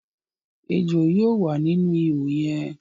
Èjò yóò wà nínú ìhò yẹ̀n